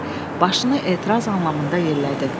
Tobi başını etiraz anlamında yerlədi.